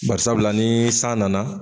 Bari sabula ni san nana